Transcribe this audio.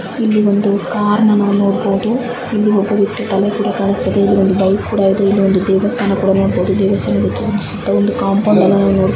ಇಲ್ಲಿ ಒಂದು ಕಾರನ್ನ ನೋಡಬಹುದು ಇಲ್ಲಿ ಒಬ್ಬ ವ್ಯಕ್ತಿ ತಲೆ ಕೂಡ ಕಾಣಸ್ತಾಯಿದೆ ಇಲ್ಲಿ ಒಂದು ಬೌಲ್ ಕೂಡ ಕಾಣಸ್ತಾಯಿದೆ. ಇಲ್ಲಿ ಒಂದು ದೇವಸ್ಥಾನ ನೋಡಬಹುದು. ಸುತ್ತಲೂ ಕಾಂಪೌಂಡ್ ಇಲ್ಲಿ ಅನ್ನು ಹಾಕಿದ್ದಾರೆ.